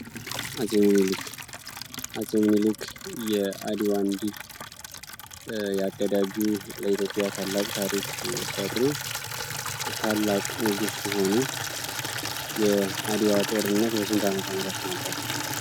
አጼ ሚኒሊክ አፄ ሚኒሊክ የአድዋ እንዲል ኢትዮጵያ ታላቅ ታሪክ የሰሩ ት ታላቅ ንጉስ ሲሆኑ የአድዋ ጦርነት በስንት ዓመተ ምህረት ነበር